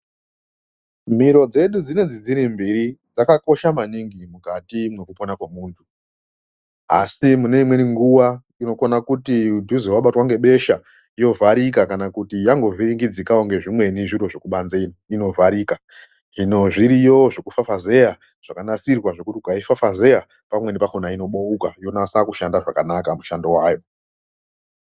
Mbiro dzedu dzinendzi dziri mbiri dzakakosha mwaningi mukati mwekupona kwomuntu. Asi mukati mweimweni nguwa inokna kuti wabatwe ngebesha yovharika kana kuti yangovhiringidzikwawo ngezvimweni zviro zvekubamze iyo ,inovharika. Hino zviriyo zvekufafazeya zvakanasirirwa zvekuti ukaifafazeya inovhurika ,pamweni pakona inobeuka yonase kushanda zvakanaka mushando wayo.